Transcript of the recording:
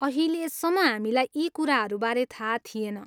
अहिलेसम्म हामीलाई यी कुराहरूबारे थाहा थिएन।